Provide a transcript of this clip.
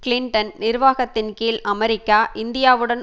Clinton நிர்வாகத்தின் கீழ் America இந்தியாவுடன்